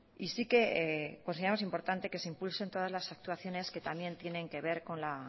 y sí que consideramos importante que se impulsen todas las actuaciones que también tienen que ver con la